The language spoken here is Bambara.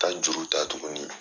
Tan juru ta tuguni.